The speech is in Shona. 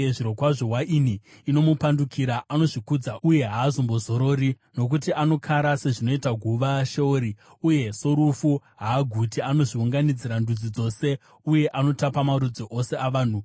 Zvirokwazvo, waini inomupandukira; anozvikudza uye haazombozorori. Nokuti anokara sezvinoita guva uye sorufu haaguti, anozviunganidzira ndudzi dzose uye anotapa marudzi ose avanhu.